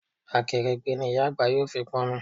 Akèrègbè ni ìyá àgbà yóò fi pọn omi